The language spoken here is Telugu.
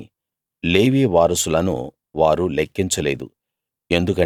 కాని లేవీ వారసులను వారు లెక్కించలేదు